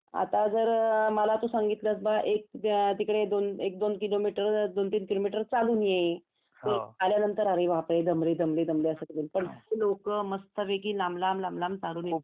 आता जर मला तू सांगितलंस एक तिकडे एक दोन किलोमीटर दोन तीन किलोमीटर चालून ये तर मी आल्यानंतर अरे बापरे दमले दमले असं करील पान ते लोक मस्त लांब लांब लांब लांब लांब चालून